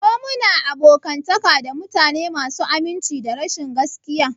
Ko muna abokantaka da mutane masu aminci da rashin gaskiya?